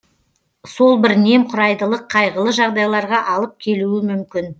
сол бір немқұрайдылық қайғылы жағдайларға алып келуі мүмкін